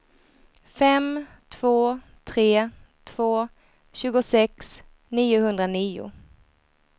fem två tre två tjugosex niohundranio